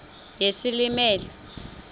yesilimela